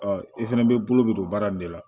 i fɛnɛ bɛ bolo bi don baara in de la